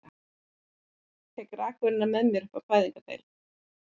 Tek rakvélina með mér upp á fæðingardeild.